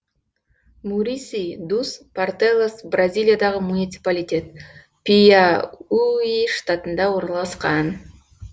муриси дус портелас бразилиядағы муниципалитет пиауи штатында орналасқан